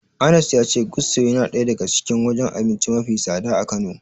Anas ya ce Gusto yana daya daga cikin wajen abinci mafi tsada a Kano.